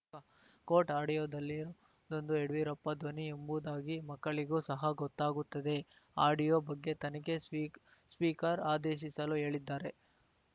coat ಆಡಿಯೋದಲ್ಲಿದೊಂದು ಯಡಿಯೂರಪ್ಪ ಧ್ವನಿ ಎಂಬುದಾಗಿ ಮಕ್ಕಳಿಗೂ ಸಹ ಗೊತ್ತಾಗುತ್ತದೆ ಆಡಿಯೋ ಬಗ್ಗೆ ತನಿಖೆ ಸ್ಪೀಕ್ ಸ್ಪೀಕರ್‌ ಆದೇಶಿಸಲು ಹೇಳಿದ್ದಾರೆ